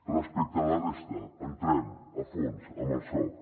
respecte a la resta entrem a fons amb el soc